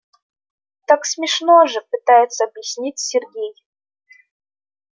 так смешно же пытается объяснить сергей